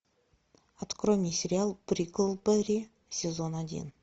открой мне сериал бриклберри сезон один